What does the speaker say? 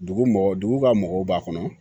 Dugu mɔgɔ dugu ka mɔgɔw b'a kɔnɔ